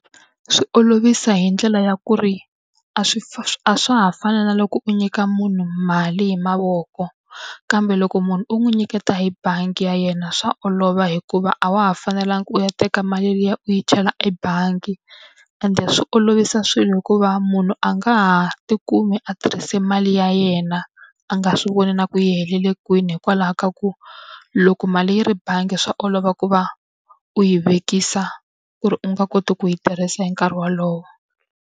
Swi olovisa hi ndlela ya ku ri a a swa ha fani na loko u nyika munhu mali hi mavoko, kambe loko munhu u n'wi nyiketa hi bangi ya yena swa olova hikuva a wa ha fanelangi u ya teka mali liya u yi chela ebangi. Ende swi olovisa swilo hikuva munhu a nga ha tikumi a tirhise mali ya yena a nga swi voni na ku yi helele kwini hikwalaho ka ku, loko mali yi ri bangi swa olova ku va u yi vekisa ku ri u nga koti ku yi tirhisa hi nkarhi wolowo.